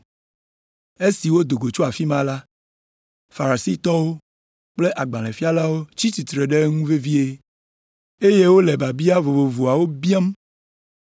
Esi wòdo go tso afi ma la, Farisitɔwo kple agbalẽfialawo tsi tsitre ɖe eŋu vevie, eye wole biabia vovovowo biam